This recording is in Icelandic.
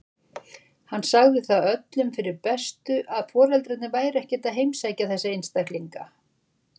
Hann sagði það öllum fyrir bestu að foreldrarnir væru ekkert að heimsækja þessa einstaklinga.